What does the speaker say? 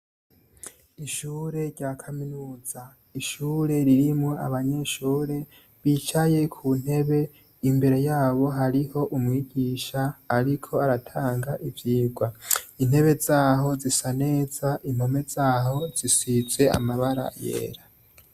Ishure rya kaminuza, ishure ririmwo abanyeshure bicaye ku ntebe, imbere yabo hariho umwigisha ariko aratanga ivyigwa. Intebe zaho zisa neza impome zaho zisize amabara yera.